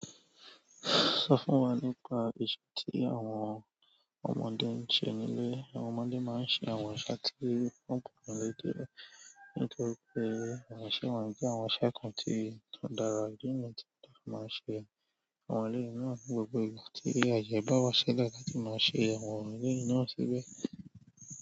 Sọ fún wa nípa ìṣe tí àwọn ọmọdé ń ṣe nílé. Àwọn ọmọdé máa ń ṣe àwọn iṣẹ́ tí wọn kò lè dé ní nítorí pé àwọn iṣẹ́ wọ̀nyí jẹ́ àwọn iṣẹ́ kan tí kò dára níyì tí a máa ń ṣe. Àwọn ọmọdé náà ní gbogbo ìgbà tí ayebawa láti ma ṣe àwọn eleyi náà síbẹ̀.